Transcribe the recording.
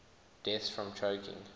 deaths from choking